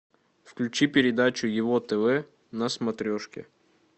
включи передачу его тв на смотрешке